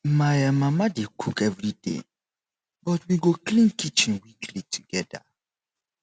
my um mama dey cook every day but we go clean kitchen weekly together